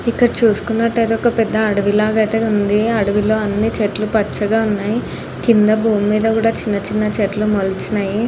ఇక్కడ చేసుకున్నట్టయితే ఒక పెద్ద అడవిలా అయితే ఉంది. అడవిలో అన్ని చెట్లు పచ్చగా ఉన్నాయి. కింద భూమి మీద కూడా చిన్న చిన్న చెట్లు మొలిచిన్నయి.